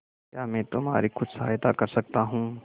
क्या मैं तुम्हारी कुछ सहायता कर सकता हूं